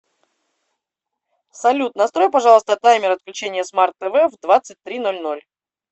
салют настрой пожалуйста таймер отключения смарт тв в двадцать три ноль ноль